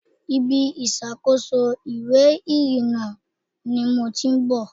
Ibi ìṣàkóso ìwé ìrìnnà ni mo ti ń bọ̀.